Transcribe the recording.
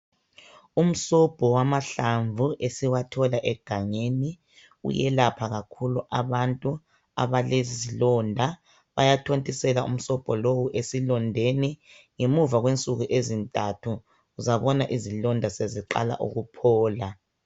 Umsobho wamahlamvu esiwathola egangeni uyelapha kakhulu abantu abalezilonda. Bayathontisela umsobho lowu esilondeni, ngemuva kwensuku ezintathu uzabona izilonda seziqala ukuphola.